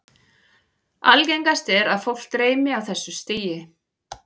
Algengast er að fólk dreymi á þessu stigi.